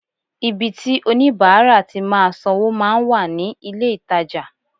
Ibi tí oníbàárà ti máa sanwó máa ń wà ní ilé-ìtajà